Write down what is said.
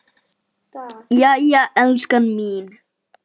Jæja, elskan mín.